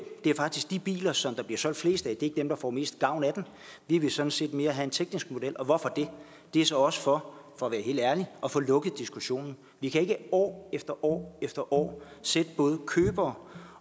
det er faktisk ikke de biler som der bliver solgt flest af der får mest gavn af den vi vil sådan set mere have en teknisk model og hvorfor det det er så også for at være helt ærlig at få lukket diskussionen vi kan ikke år efter år efter år sætte både købere